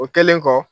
O kɛlen kɔ